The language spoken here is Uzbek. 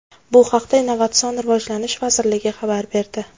Bu haqda Innovatsion rivojlanish vazirligi xabar berdi .